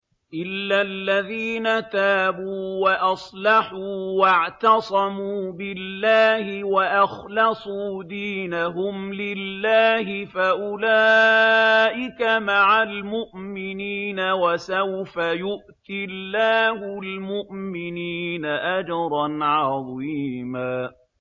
إِلَّا الَّذِينَ تَابُوا وَأَصْلَحُوا وَاعْتَصَمُوا بِاللَّهِ وَأَخْلَصُوا دِينَهُمْ لِلَّهِ فَأُولَٰئِكَ مَعَ الْمُؤْمِنِينَ ۖ وَسَوْفَ يُؤْتِ اللَّهُ الْمُؤْمِنِينَ أَجْرًا عَظِيمًا